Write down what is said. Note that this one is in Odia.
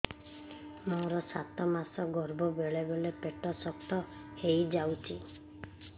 ମୋର ସାତ ମାସ ଗର୍ଭ ବେଳେ ବେଳେ ପେଟ ଶକ୍ତ ହେଇଯାଉଛି